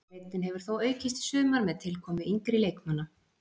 Breiddin hefur þó aukist í sumar með tilkomu yngri leikmanna.